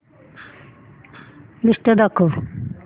list दाखव